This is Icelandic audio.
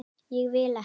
Ég vil ekki.